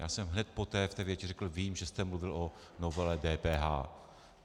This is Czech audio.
Já jsem hned poté v té větě řekl: vím, že jste mluvil o novele DPH.